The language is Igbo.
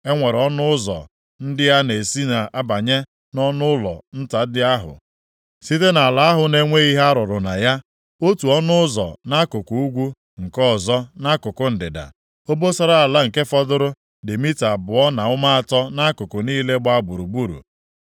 E nwere ọnụ ụzọ ndị a na-esi abanye nʼọnụụlọ nta ndị ahụ, site nʼala ahụ na-enweghị ihe arụrụ na ya, otu ọnụ ụzọ nʼakụkụ ugwu, nke ọzọ nʼakụkụ ndịda. Obosara ala nke fọdụrụ dị mita abụọ na ụma atọ nʼakụkụ niile gbaa gburugburu.